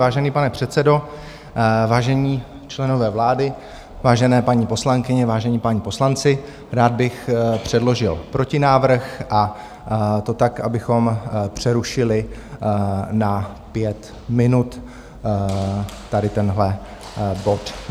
Vážený pane předsedo, vážení členové vlády, vážené paní poslankyně, vážení páni poslanci, rád bych předložil protinávrh, a to tak, abychom přerušili na pět minut tady tenhle bod.